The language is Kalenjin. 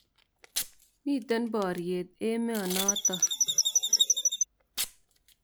Mite poryet emo notok.